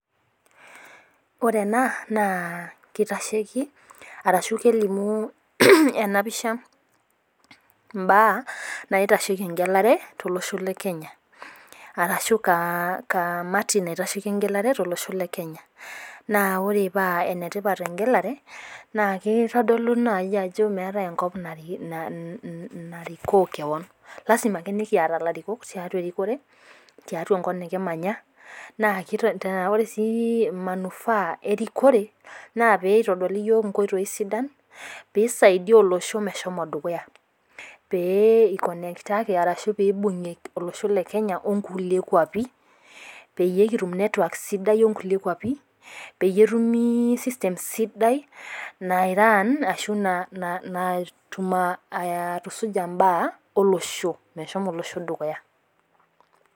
Ore ena naa kitasheki arashu kelimu ena pisha imbaa naitasheki eng'elare tolosho le Kenya arashu kaa ka kamati naitasheki eng'elare tolosho le Kneya. Naa ore pee ene tipat eng'elare naake itodolu naaji ajo meetai enkop nariki na na narikoo kewon, lazima ake nekiyata ilarikok tiatua erikore, tiatua enkop nekimanya naa te ore sii manufaa erikore naa pee itadoli iyiok inkoitoi sidan piisaidia olosho meshomo dukuya pee iconnectaki arashu piibung'ie olosho le Kenya o nkulie kuapi peyie kitum network sidai o nkulie kuapi, peyie etumi system sidai nairun ashu na na natum aa aatusuja imbaa olosho meshomo olosho dukuya.